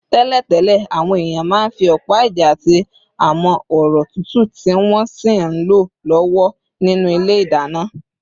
Tẹ́lẹ̀tẹ́lẹ̀, àwọn èèyàn máa ń fi ọ̀pá-ìjà àti amọ́-ọ̀rọ̀ túútúú, tí wọ́n sì ń lọ lọ́wọ́ nínú ilé ìdáná